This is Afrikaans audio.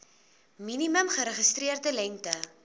minimum geregistreerde lengte